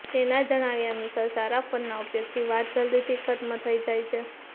તેના જણાવ્યા અનુસાર સારા ફોનના ઉપયોગથી વાત જલ્દીથી ખતમ થઈ જાય છે